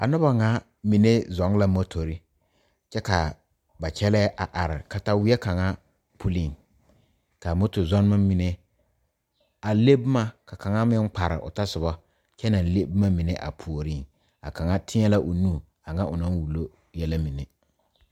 A noba ŋa mine zɔŋ la motori kyɛ k,a ba kyɛlɛɛ a are kataweɛ kaŋa puliŋ k,a motozɔmmɔ mine a le boma ka kaŋa meŋ kpare o tɔsoba kyɛ naŋ meŋ boma mine a puoriŋ a kaŋa teɛ l,a o nu a ŋa o naŋ Willow yɛlɛ mine.